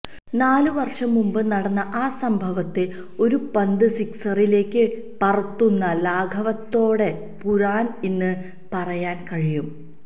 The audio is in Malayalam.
നാല് വര്ഷം മുമ്പ് നടന്ന ആ സംഭവത്തെ ഒരു പന്ത് സിക്സിലേക്ക് പറത്തുന്ന ലാഘവത്തോടെ പുരാന് ഇന്ന് പറയാന് കഴിയും